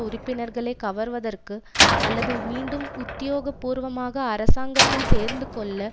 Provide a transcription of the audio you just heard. உறுப்பினர்களை கவர்வதற்கு அல்லது மீண்டும் உத்தியோகபூர்வமாக அரசாங்கத்தில் சேர்ந்துகொள்ள